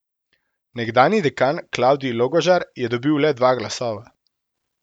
Nekdanji dekan Klavdij Logožar je dobil le dva glasova.